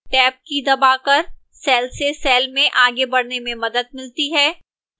tab की दबाकर cell से cell में आगे बढ़ने में मदद मिलती है